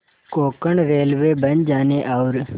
Konkan railway बन जाने और